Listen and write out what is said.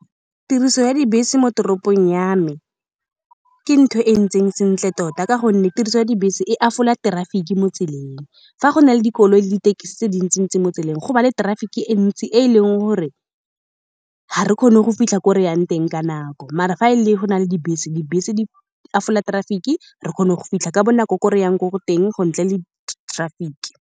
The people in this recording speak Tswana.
Tiriso ya dibese mo toropong ya me ke ntho e e ntseng sentle tota, ka gonne tiriso ya dibese e a traffic-i mo tseleng. Fa go na le dikoloi le dithekisi tse dintsi-ntsi mo tseleng, go ba le traffic-i e ntsi e e leng gore ga re kgone go fitlha ko re yang teng ka nako. Mara, fa e le go na le dibese, dibese di a traffic-i, re kgona go fitlha ka bonako ko re yang ko-ko teng go ntle le traffic-i.